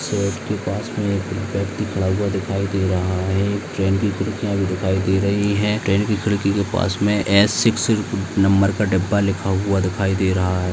Shade के पास मे एक व्यक्ति खड़ा हुआ दिख रहा है एक ट्रेन की खिड़किया भी दिखाई दे रही है ट्रेन की खिड़की के पास मे ए सिक्स नंबर का डब्बा लिखा हुआ दिखाई दे रहा है।